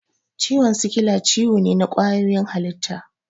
Ciwon sikila ciwo ne na ƙwayoyin halitta.